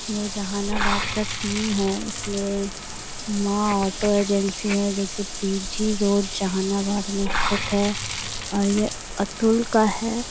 ये जहानाबाद का सीन है इसमें माँ ऑटो एजेंसी है जो की पी.जी. रोड जहानाबाद में स्थित है और ये अतुल का है।